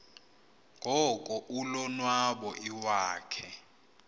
ngoko ulonwabo iwakhe